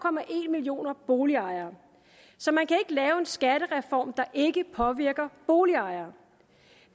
millioner boligejere så man kan ikke lave en skattereform der ikke påvirker boligejere